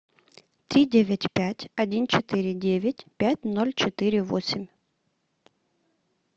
три девять пять один четыре девять пять ноль четыре восемь